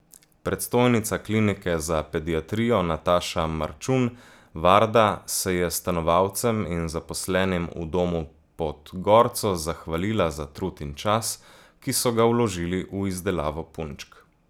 Predstojnica klinike za pediatrijo Nataša Marčun Varda se je stanovalcem in zaposlenim v Domu pod gorco zahvalila za trud in čas, ki so ga vložili v izdelavo punčk.